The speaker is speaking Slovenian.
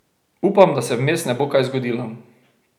Upam, da se vmes ne bo kaj zgodilo.